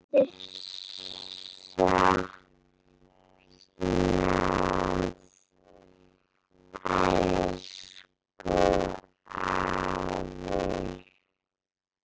Þín verður saknað, elsku afi.